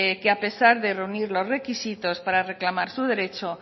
que a pesar de reunir los requisitos para reclamar sus derechos